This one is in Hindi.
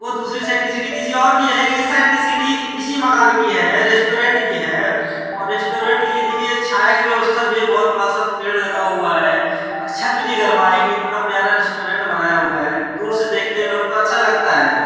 वो दूसरी साइड की सीढ़ी किसी और की है लेकिन इस साइड की सीढ़ी इसी मकान की है | रेस्टोरेंट की है और रेस्टोरेंट के लिए देखिये छाया की भी व्यवस्था भी है | बहुत बड़ा सा पेड़ लगा हुआ है छत भी नहीं गर्माएगी इतना प्यारा रेस्टोरेंट बनाया हुआ है दूर से देखते लोग तो अच्छा लगता है |